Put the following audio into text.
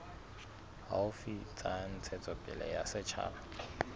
haufi tsa ntshetsopele ya setjhaba